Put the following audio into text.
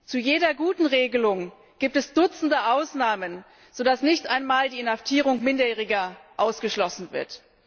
Zu jeder guten Regelung gibt es Dutzende Ausnahmen, sodass nicht einmal die Inhaftierung Minderjähriger ausgeschlossen wird.